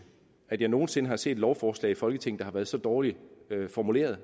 at jeg nogen sinde har set et lovforslag i folketinget der har været så dårligt formuleret og